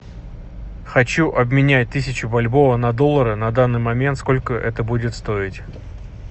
хочу обменять тысячу бальбоа на доллары на данный момент сколько это будет стоить